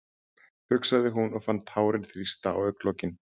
hugsaði hún og fann tárin þrýsta á augnalokin.